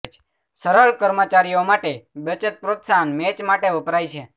સરળ કર્મચારીઓ માટે બચત પ્રોત્સાહન મેચ માટે વપરાય છે